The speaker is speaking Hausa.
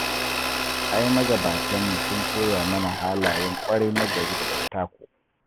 Ai magabatanmu sun koya mana halayen ƙwarai nagari da dattako